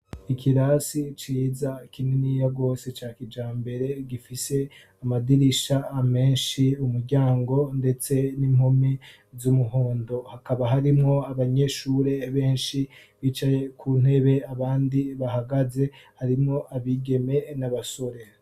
ikirasi ciza kininiya gose cya kija mbere gifise amadirisha amenshi umuryango ndetse n'impomi z'umuhondo hakaba harimwo abanyeshure benshi bicaye ku ntebe abandi bahagaze harimwo abigeme n'abasore